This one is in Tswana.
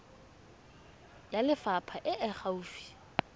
ya lefapha e e gaufi